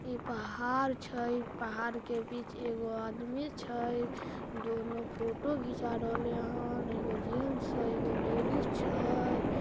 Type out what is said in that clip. एक पहाड़ छै एक पहाड़ बीच एगो आदमी छै दोनों फोटो घीचा रहले हेन एगो जैंट्स छै एगो लेडिज छै।